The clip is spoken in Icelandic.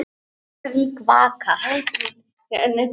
Reykjavík, Vaka.